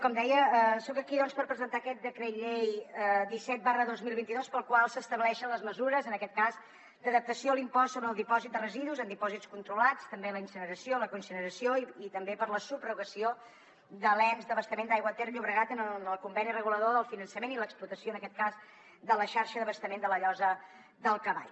com deia soc aquí doncs per presentar aquest decret llei disset dos mil vint dos pel qual s’estableixen les mesures en aquest cas d’adaptació a l’impost sobre el dipòsit de residus en dipòsits controlats també la incineració i la coincineració i també per a la subrogació de l’ens d’abastament d’aigua ter llobregat en el conveni regulador del finançament i l’explotació en aquest cas de la xarxa d’abastament de la llosa del cavall